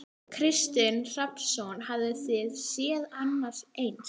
Kristinn Hrafnsson: Hafið þið séð annað eins?